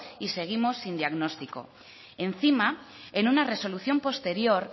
y seguimos sin diagnóstico encima en una resolución posterior